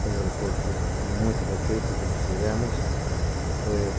Tem um aeroporto muito bem feito que nós fizemos.